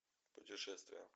путешествия